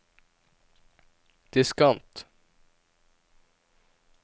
diskant